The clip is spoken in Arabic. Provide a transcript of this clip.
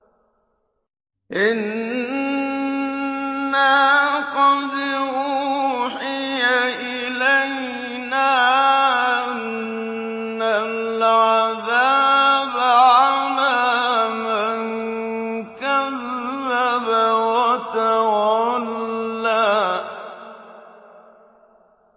إِنَّا قَدْ أُوحِيَ إِلَيْنَا أَنَّ الْعَذَابَ عَلَىٰ مَن كَذَّبَ وَتَوَلَّىٰ